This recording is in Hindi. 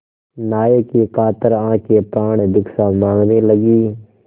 नायक की कातर आँखें प्राणभिक्षा माँगने लगीं